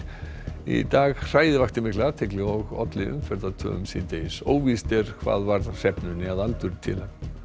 í dag hræið vakti mikla athygli og olli síðdegis óvíst er hvað varð hrefnunni að aldurtila